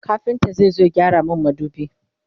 kafinta zai zo ya gyara min madubi